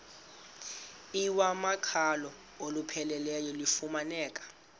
iwamaqhalo olupheleleyo lufumaneka